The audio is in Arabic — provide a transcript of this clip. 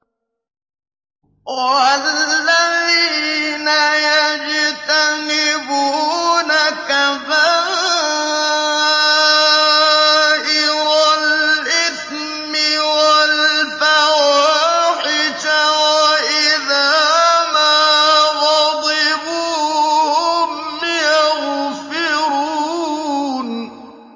وَالَّذِينَ يَجْتَنِبُونَ كَبَائِرَ الْإِثْمِ وَالْفَوَاحِشَ وَإِذَا مَا غَضِبُوا هُمْ يَغْفِرُونَ